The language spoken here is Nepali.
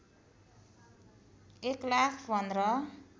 १ लाख १५